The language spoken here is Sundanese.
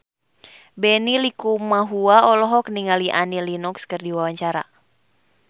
Benny Likumahua olohok ningali Annie Lenox keur diwawancara